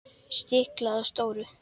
Stiklað á stóru